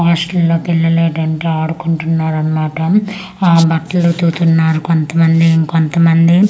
hostel లోకి ఏళ్లలేడు అంటే అడుకుంటున్నాడు అన్నమాట ఆ బట్టలు ఉతుకుతున్నారు కొంత మంది ఇంకొంత మంది అ--